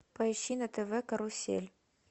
поищи на тв карусель